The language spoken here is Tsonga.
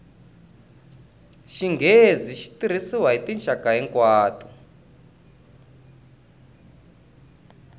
xinghezi xi tirhisiwa hi tinxaka hinkwato